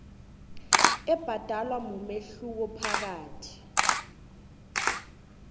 ebhadelwako mumehluko phakathi